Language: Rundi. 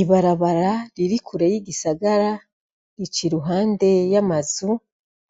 Ibarabara ririkure y'igisagara rica i ruhande y'amazu